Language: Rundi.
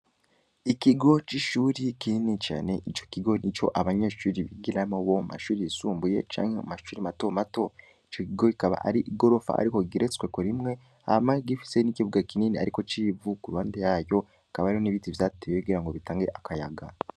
Ikigo c’ishuri kinini cane, ico kigo nico abanyeshuri bigiramwo, bo mu mashuri yisumbuye canke mu mashuri mato mato; ico kigo ikaba ari igorofa ariko igeretsweko rimwe, hama gifise n’ikibuga kinini ariko c’ivu, ku ruhande yaryo, hakaba hariho n’ibiti vyatewe kugira ngo bitange akayaga.